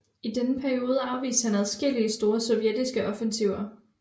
I denne periode afviste han adskillige store sovjetiske offensiver